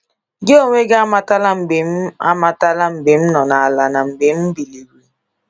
Gị onwe gị amatala mgbe m amatala mgbe m nọ n'ala na mgbe m biliri.